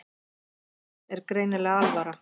Honum er greinilega alvara.